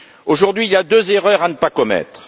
Aujourd'hui, il y a deux erreurs à ne pas commettre.